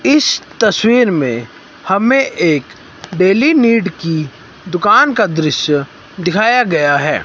इस तस्वीर में हमें एक डेली नीड की दुकान का दृश्य दिखाया गया है।